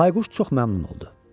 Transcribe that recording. Bayquş çox məmnun oldu.